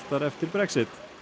eftir Brexit